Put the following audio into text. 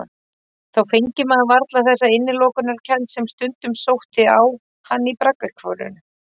Þá fengi maður varla þessa innilokunarkennd sem stundum sótti á hann í braggahverfinu.